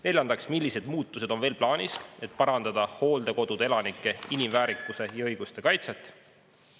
Neljandaks, millised muutused on veel plaanis, et parandada hooldekodude elanike inimväärikuse ja ‑õiguste kaitset?